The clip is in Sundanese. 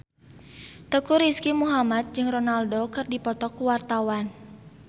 Teuku Rizky Muhammad jeung Ronaldo keur dipoto ku wartawan